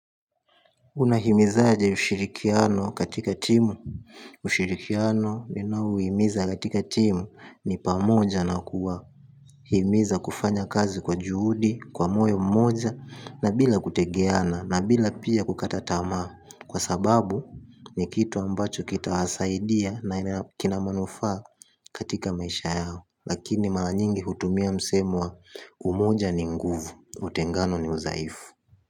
Unahimizaje ushirikiano katika timu. Ushirikiano uhimiza katika timu ni pamoja na kuwa himiza kufanya kazi kwa juhudi, kwa moyo mmoja na bila kutegeana na bila pia kukata tamaa. Kwa sababu ni kitu ambacho kitasaidia na ina kina manufaa katika maisha yao. Lakini mara nyingi hutumia msemo wa umoja ni nguvu, utengano ni udhaifu.